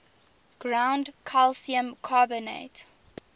ground calcium carbonate